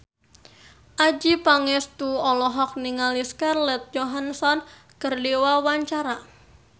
Adjie Pangestu olohok ningali Scarlett Johansson keur diwawancara